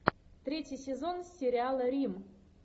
третий сезон сериала рим